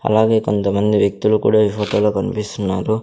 అలాగే కొంతమంది వ్యక్తులు కూడా ఈ ఫోటోలో కనిపిస్తున్నారు.